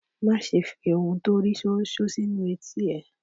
Má ṣe fi ohun tó rí ṣóńṣó sínu etí ẹ.